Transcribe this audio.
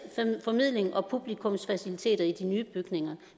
formidling og publikumsfaciliteter i de nye bygninger